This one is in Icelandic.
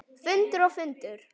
Fundur og fundur.